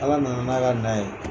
Ala nana n'a ka na ye